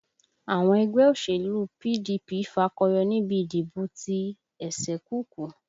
Àwọn ẹgbẹ́ òṣèlú PDP fakọyọ nibi ìdìbò ti ẹ̀sẹ̀kùkú